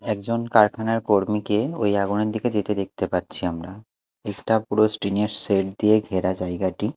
একজন কারখানার কর্মীকে ওই আগুনের দিকে যেতে পাচ্ছি আমরা একটা পুরো টিন -এর শেড দিয়ে ঘেরা জায়গাটি।